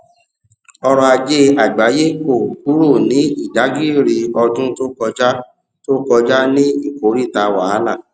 ọrọ ajé àgbáyé kò kúrò ní ìdágìrì ọdún to kọjá to kọjá ní ìkòríta wàhálà